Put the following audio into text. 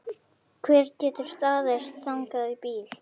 Hver getur staðist þannig bíl?